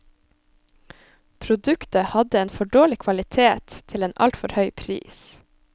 Produktet hadde en for dårlig kvalitet til en alt for høy pris.